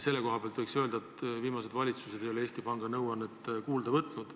Selle koha pealt võiks öelda, et viimased valitsused ei ole Eesti Panga nõuannet kuulda võtnud.